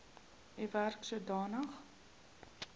u werk sodanig